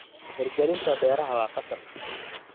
Hirgelinta beeraha waa qasab.